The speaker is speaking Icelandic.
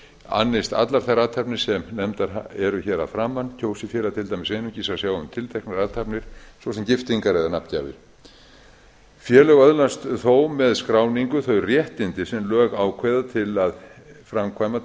annist allar þær athafnir sem nefnda eru hér að framan kjósi félag til dæmis einungis að sjá um tilteknar athafnir svo sem giftingar eða nafngjafir félög öðlast þó með skráningu þau réttindi sem lög ákveða til að framkvæma